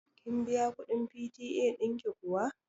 Kin biya kuɗin PTA ɗin ki kuwa?